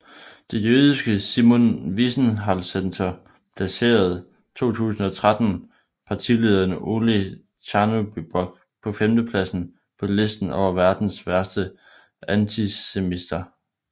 Det jødiske Simon Wiesenthalcenter placerede 2013 partilederen Oleh Tjahnybok på femtepladsen på listen over verdens værste antisemitter